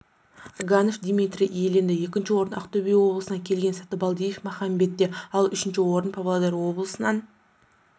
агафонов дмитрий иеленді екінші орын ақтөбе облысынан келген сатыбалдиев махамбетте ал үшінші орын павлодар облысынан